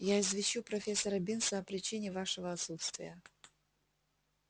я извещу профессора бинса о причине вашего отсутствия